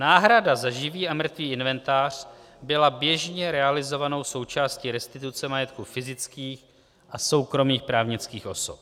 Náhrada za živý a mrtvý inventář byla běžně realizovanou součástí restituce majetku fyzických a soukromých právnických osob.